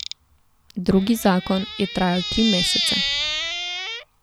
Drugi zakon je trajal tri mesece.